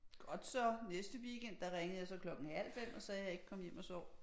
Godt så næste weekend der ringede jeg så klokken halv 5 og sagde jeg ikke kom hjem og sov